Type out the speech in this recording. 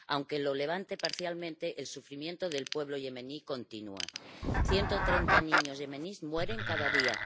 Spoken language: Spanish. Aunque lo levante parcialmente, el sufrimiento del pueblo yemení continúa 130 niños yemeníes mueren cada día